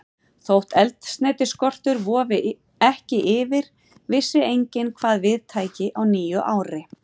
Þótt eldsneytisskortur vofði ekki yfir, vissi enginn, hvað við tæki á nýju ári.